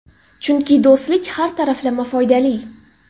Chunki do‘stlik har taraflama foydali.